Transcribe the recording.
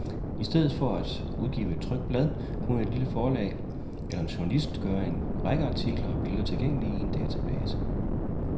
I stedet for at udgive et trykt blad, kunne et lille forlag, eller en journalist, gøre en række artikler og billeder tilgængelige i en database.